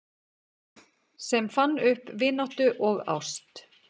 Sem fann upp vináttu og ást